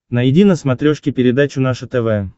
найди на смотрешке передачу наше тв